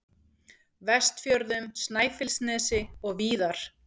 Vestfjörðum, Snæfellsnesi og víðar.